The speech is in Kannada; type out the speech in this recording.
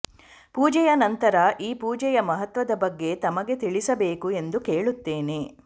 ಪೂಜೆಯ ನಂತರ ಈ ಪೂಜೆಯ ಮಹತ್ವದ ಬಗ್ಗೆ ತಮಗೆ ತಿಳಿಸಬೇಕು ಎಂದು ಕೇಳುತ್ತಾನೆ